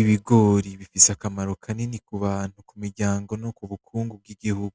Ibigori bifise akamaro kanini kubantu kumiryango nokubukungu bwigihigu,